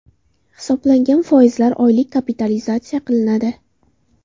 Hisoblangan foizlar oylik kapitalizatsiya qilinadi.